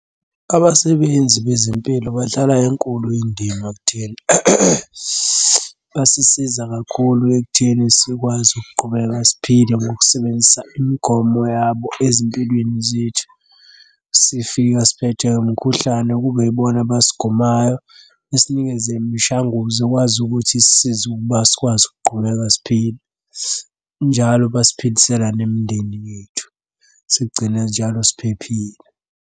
Abasebenzi bezempilo badlala enkulu indima ekutheni basisiza kakhulu ekutheni sikwazi ukuqhubeka siphile ngokusebenzisa imigomo yabo ezimpilweni zethu. Sifika siphethwe umkhuhlane kube yibona abasigomayo besinikeze imishanguzo ekwazi ukuthi isisize ukuba sikwazi ukuqhubeka siphile. Njalo basiphilisela nemindeni yethu sigcina njalo siphephile.